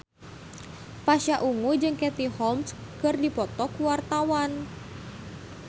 Pasha Ungu jeung Katie Holmes keur dipoto ku wartawan